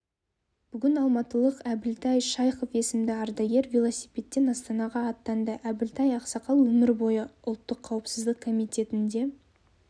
бүгін алматылық әбілтай шайхов есімді ардагер велосипедпен астанаға аттанды әбілтай ақсақал өмір бойы ұлттық қауіпсіздік комитетінде